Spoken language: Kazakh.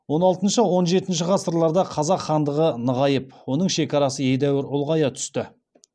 он алтыншы он жетінші ғасырларда қазақ хандығы нығайып оның шекарасы едәуір ұлғая түсті